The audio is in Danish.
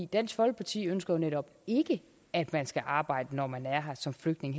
dansk folkeparti ønsker jo netop ikke at man skal arbejde når man er her som flygtning